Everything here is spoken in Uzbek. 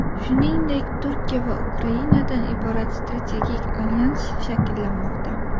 Shuningdek, Turkiya va Ukrainadan iborat strategik alyans shakllanmoqda.